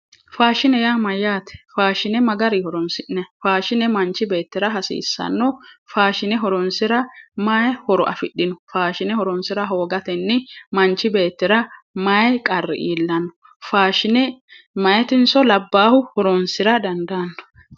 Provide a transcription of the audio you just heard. Faashine yaa mayyaate? faashine ma garii horonsi'nayi? faashine manchi beettira hasiissanno? faashine horoonsira mayi horo afidhino? faashine horonsira hoogatenni manchi beetira maayi qarri iillanno? faashine meyaatinso labbaahu horoonsira dandaanno?